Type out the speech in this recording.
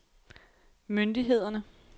myndighederne